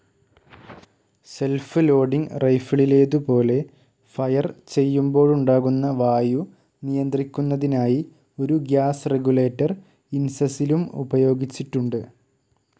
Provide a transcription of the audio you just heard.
Self loading റൈഫിളിലേതുപോലെ fire ചെയ്യുമ്പോഴുണ്ടാകുന്ന വായു നിയന്ത്രിക്കുന്നതിനായി ഒരു ഗ്യാസ്‌ റെഗുലേറ്റർ ഇൻസസിലും ഉപയോഗിച്ചിട്ടുണ്ട്.